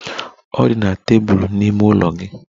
Ọ dị na tebụl n'ime ime ụlọ gị.